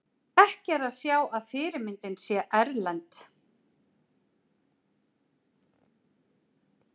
Ekki er að sjá að fyrirmyndin sé erlend.